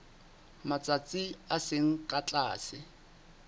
matsatsi a seng ka tlase